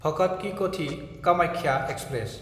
भगत कि कथि–कामाख्या एक्सप्रेस